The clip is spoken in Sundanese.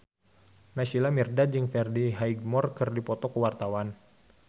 Naysila Mirdad jeung Freddie Highmore keur dipoto ku wartawan